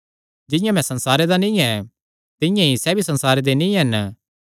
जिंआं मैं संसारे दा नीं ऐ तिंआं ई सैह़ भी संसारे दे नीं हन